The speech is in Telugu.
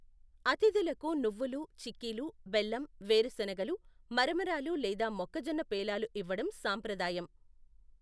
అతిథులకు నువ్వులు, చిక్కీలు, బెల్లం, వేరుశెనగలు, మరమరాలు లేదా మొక్కజొన్న పేలాలు ఇవ్వడం సాంప్రదాయం.